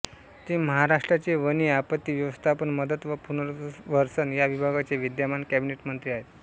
ते महाराष्ट्राचे वने आपत्ती व्यवस्थापन मदत व पुनर्वसन या विभागाचे विद्यमान कॅबिनेट मंत्री आहेत